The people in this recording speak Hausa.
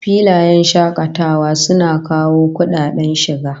Filayen shakatawa suna kawo kudaden shiga